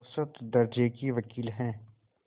औसत दर्ज़े के वक़ील हैं